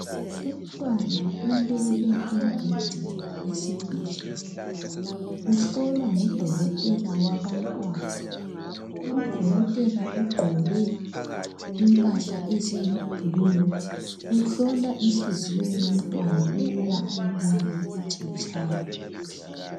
Umntwana ulele embhedeni wesibhedlela uhlolwa ngudokotela wabantwana udokotela ugqoke impahla eziyibhulu uhlola inhliziyo yomntwana ukuba ayibone ukuthi itshaya kuhle.